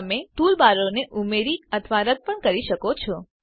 તમે ટૂલબારોને ઉમેરી અથવા રદ્દ પણ કરી શકો છો